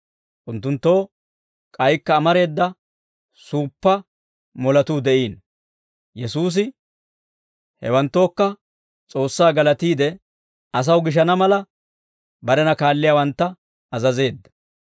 Unttunttoo k'aykka amareeda suuppaa moletuu de'iino; Yesuusi hewanttookka S'oossaa galatiide, asaw gishana mala, barena kaalliyaawantta azazeedda.